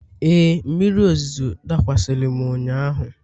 Ee, mmiri ozuzo dakwasịrị m ụnyahụ.